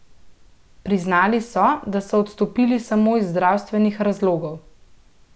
Priznali so, da so odstopili samo iz zdravstvenih razlogov.